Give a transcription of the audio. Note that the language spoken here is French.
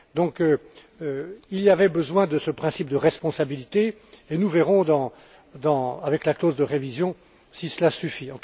Donc il y avait besoin de ce principe de responsabilité et nous verrons avec la clause de révision, si cela suffit.